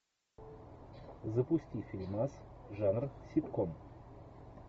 запусти фильмас жанр ситком